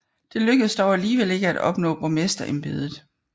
Det lykkedes dog alligevel ikke at opnå borgmesterembedet